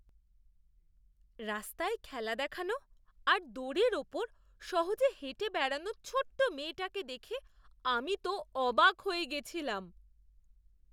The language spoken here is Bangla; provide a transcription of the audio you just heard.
রাস্তায় খেলা দেখানো আর দড়ির ওপর সহজে হেঁটে বেড়ানো ছোট্ট মেয়েটাকে দেখে আমি তো অবাক হয়ে গেছিলাম!